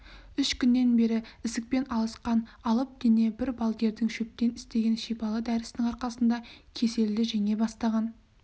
үш күннен бері ісікпен алысқан алып дене бір балгердің шөптен істеген шипалы дәрісінің арқасында кеселді жеңе бастаған